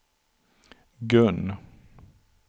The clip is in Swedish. Gun